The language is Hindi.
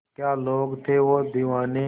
क्या लोग थे वो दीवाने